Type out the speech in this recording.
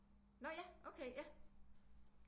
Nå ja okay ja